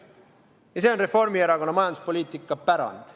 Ja see on Reformierakonna majanduspoliitika pärand.